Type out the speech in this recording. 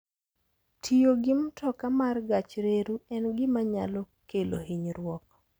Tiyo gi mtoka mar gach reru en gima nyalo kelo hinyruok.